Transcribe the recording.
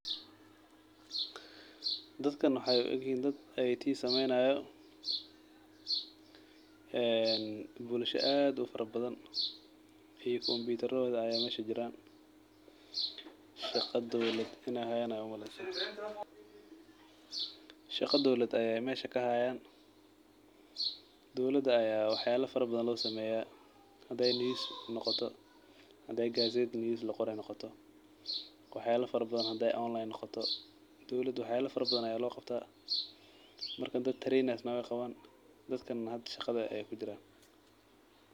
Dadkan waxee u egyihin dad IT sameyni hayo ee bulshaada aad ufara badan iyo computer rahoda aya mesha kujiran shaqa dowlaad in ee hayan aya u maleysa, shaqa ayey hayan dowlaada aya wax fara badan lo sameya hadii e noqoto gaset laqorayo ee noqoto hadiii ee online tahdo dowlaada wax fara badan aya lo qabtaa marka dad trains weyqawan ayey kujiran.